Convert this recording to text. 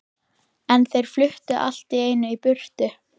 En þeir fluttu allt í einu í burtu.